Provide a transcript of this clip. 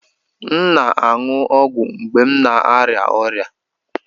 M na-aṅụ ọgwụ mgbe m na-arịa ọrịa